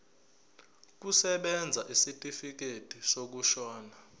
kusebenza isitifikedi sokushona